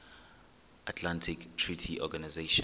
atlantic treaty organization